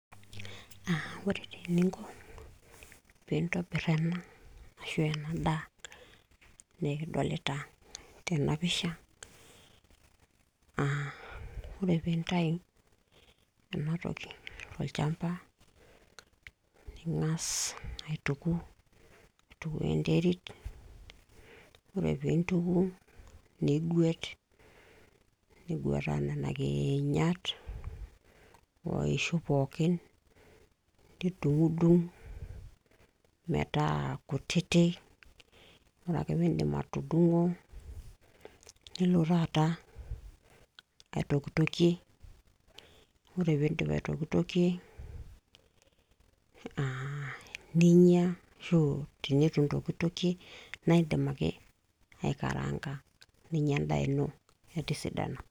Ore taa eningo pintobira enam ena daa, nikidolita tena pisha ore pintayu ena toki tolchamba ningas aituku aitukuo enterit, ore pintuku ningwet ningweta nena kinyaat o ishu pooki nidungdung meeta kutiti, ore ake pindip atudungo nilo tata aitokitoki, ore pindip aitokitokie, aaa ninyia, ashu tenetu intokitokie na indim ake aikaranga ninyia endaa ino etisidana.